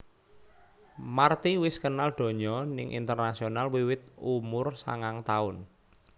Marty wis kenal donya ning internasional wiwit umur sangang taun